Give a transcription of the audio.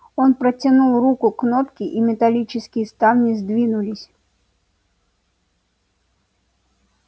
он протянул руку к кнопке и металлические ставни сдвинулись